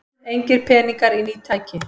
Engir peningar í ný tæki